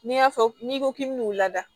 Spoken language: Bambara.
N'i y'a fɔ n'i ko k'i bi n'u lada